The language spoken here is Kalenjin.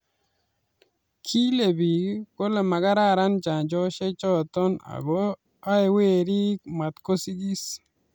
Kile biik kole makararen chanjoishe choto ako aee werik matkosigis